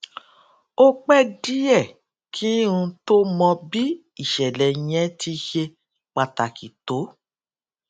ó pé díè kí n tó mọ bí ìṣèlè yẹn ti ṣe pàtàkì tó